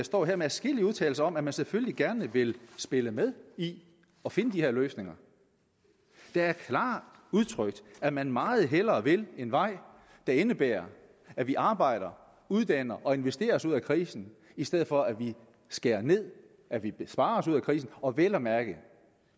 står her med adskillige udtalelser om at man selvfølgelig gerne vil spille med i at finde de her løsninger det er klart udtrykt at man meget hellere vil en vej der indebærer at vi arbejder uddanner og investerer os ud af krisen i stedet for at vi skærer ned at vi vil spare os ud af krisen og vel at mærke